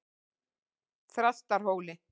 Þrastarhóli